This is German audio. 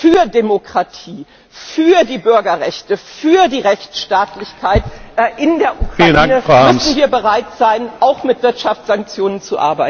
Für Demokratie, für die Bürgerrechte, für die Rechtsstaatlichkeit in der Ukraine müssen wir bereit sein, auch mit Wirtschaftssanktionen zu arbeiten.